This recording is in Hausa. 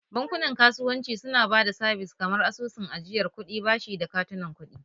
Bankunan kasuwanci suna ba da sabis kamar asusun ajiyar kuɗi, bashi da katunan kuɗi